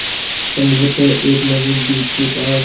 संभवत एक नवीन द्वीप के पास